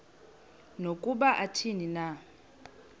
nokuba athini na